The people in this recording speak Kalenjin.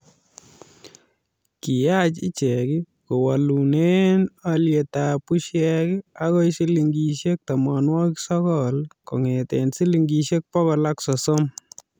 kiyach ichege kowoolune olyetab busiek akoi silingisiek tomonwokik sokol kong'ete silingisiek bokol ak sosom